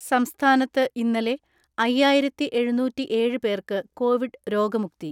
സംസ്ഥാനത്ത് ഇന്നലെ അയ്യായിരത്തിഎഴുന്നൂറ്റിഏഴ്‌ പേർക്ക് കോവിഡ് രോഗമുക്തി.